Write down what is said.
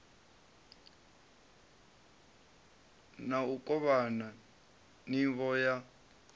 na u kovhana nivho ya